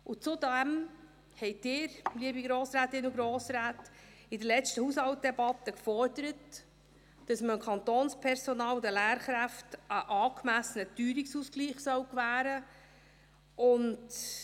Zudem forderten Sie, liebe Grossrätinnen und Grossräte, in der letzten Haushaltsdebatte, dass man dem Kantonspersonal und den Lehrkräften einen angemessenen Teuerungsausgleich gewähren soll.